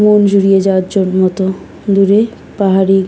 মন জুড়িয়ে যাওয়ার জন্য তো দূরে পাহাড়ি--